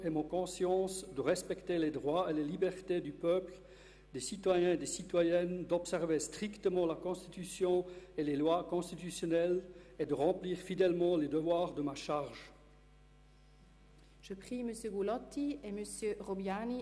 Und schliesslich folgt seitens der Fraktion der Grünen Herr Christoph Grupp auf Frau Daphné Rüfenacht in den Grossen Rat.